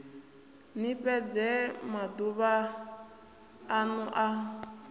ni fhedze maduvha anu a